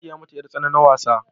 na saya mata yar tsana na wasa